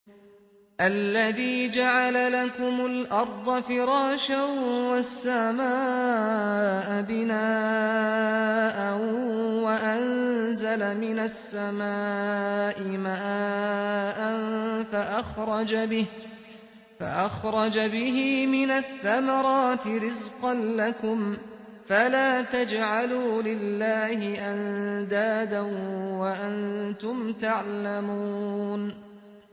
الَّذِي جَعَلَ لَكُمُ الْأَرْضَ فِرَاشًا وَالسَّمَاءَ بِنَاءً وَأَنزَلَ مِنَ السَّمَاءِ مَاءً فَأَخْرَجَ بِهِ مِنَ الثَّمَرَاتِ رِزْقًا لَّكُمْ ۖ فَلَا تَجْعَلُوا لِلَّهِ أَندَادًا وَأَنتُمْ تَعْلَمُونَ